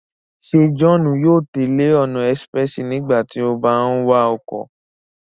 Se Johnu yóò tẹle ọna expréssi nígbàtí o bà ń wa ọkọ?